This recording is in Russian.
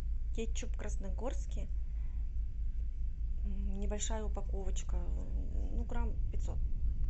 кетчуп красногорский небольшая упаковочка ну грамм пятьсот